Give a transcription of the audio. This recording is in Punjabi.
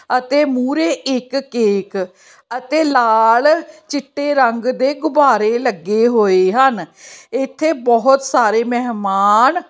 ਅਤੇ ਮੁਹਰੇ ਇੱਕ ਕੇਕ ਅਤੇ ਲਾਲ ਚਿੱਟੇ ਰੰਗ ਦੇ ਗੁਬਾਰੇ ਲੱਗੇ ਹੋਏ ਹਨ। ਇੱਥੇ ਬਹੁਤ ਸਾਰੇ ਮਹਿਮਾਨ --